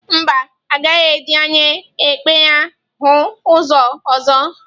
Mba, ọ gaghị eji anya ekpe ya hụ ụzọ ọzọ.